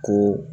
Ko